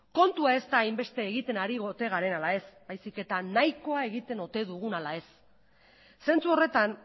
kontua ez da hainbeste egiten ari ote garen ala ez baizik eta nahikoa egiten ote dugun ala ez zentzu horretan